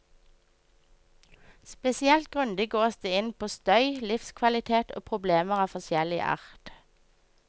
Spesielt grundig gås det inn på støy, livskvalitet og problemer av forskjellig art.